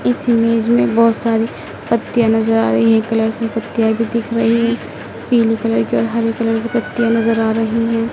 इस इमेज में बहोत सारी पत्तियाँ नज़र आ रही हैं कलर कि पत्तियाँ भी दिख रही हैं पीले कलर की और हरे कलर की पत्तियाँ नज़र आ रही हैं।